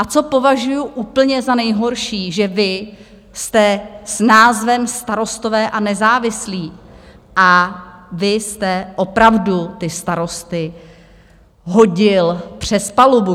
A co považuju úplně za nejhorší, že vy jste s názvem Starostové a nezávislí a vy jste opravdu ty starosty hodil přes palubu.